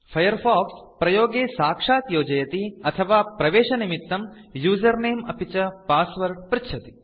Firefox प्रयोगे साक्षात् योजयति अथवा प्रवेशनिमित्तं उसेर्नमे अपि च पासवर्ड पृच्छति